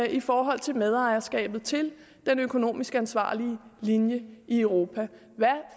i forhold til medejerskabet til den økonomisk ansvarlige linje i europa hvad